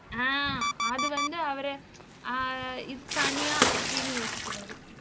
அஹ் அது வந்து அவரு அஹ் இது தனியா அப்படின்னு யோசிக்கிறாரு